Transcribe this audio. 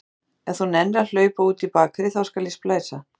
Ef þú nennir að hlaupa út í bakarí, þá skal ég splæsa.